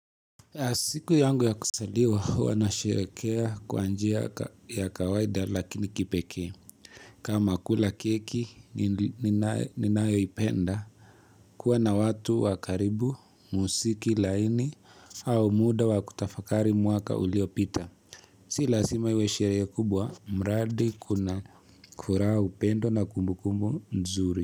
Asiku yangu ya kusaliwa wanashekerea kwa njia ya kawaida lakini kipeke. Kama kula keki ninayo ipenda, kuwa na watu wa karibu, musiki laini, au muda wakutafakari mwaka ulio pita. Si lazima iwe sherehe kubwa, mradi kuna kuraa upendo na kumbu kumbu nzuri.